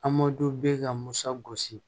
Amadu bɛ ka masa gosi